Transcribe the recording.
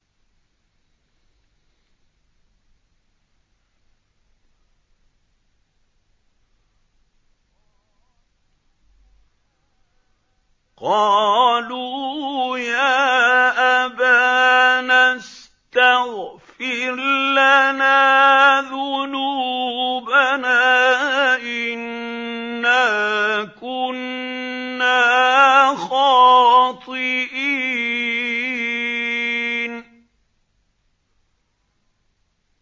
قَالُوا يَا أَبَانَا اسْتَغْفِرْ لَنَا ذُنُوبَنَا إِنَّا كُنَّا خَاطِئِينَ